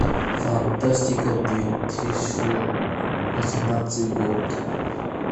фантастика две тысячи восемнадцатый год